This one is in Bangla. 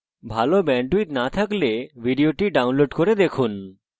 যদি ভাল bandwidth না থাকে তাহলে আপনি ভিডিওটি download করে দেখতে পারেন